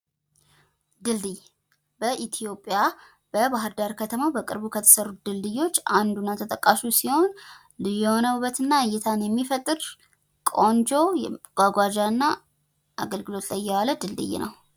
ድልድይ ፤ በኢትዮጵያ በባህርዳር ከተማ በቅርቡ ከተሰሩ ድልድዮች አንዱ እና ተጠቃሹ ሲሆን ልዩ የሆነ ውበት እና እይታን የሚፈጥር ቆንጆ የመጓጓዣ እና አገልግሎት ላይ የዋለ ድልድይ ነው።